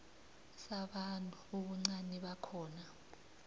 sabantu ubuncani bakhona